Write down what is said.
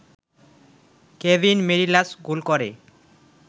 Kevin Mirallas goal করে